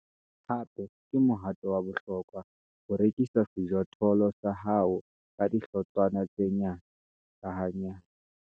Hape ke mohato wa bohlokwa ho rekisa sejothollo sa hao ka dihlotshwana tse nyane, ka hanyane.